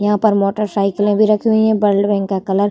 यहाँ पर motorcycle भी रखी हुइ हैं ब्लड बैंक का कलर --